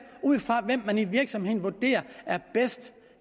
ud fra hvem man i virksomheden vurderer er bedst